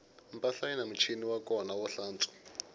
mpahla yini muchini wa kona wo tlantswa